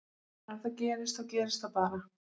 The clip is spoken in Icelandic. Ef það gerist þá gerist það bara.